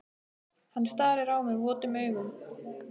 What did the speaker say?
Hann starir á mig votum augum.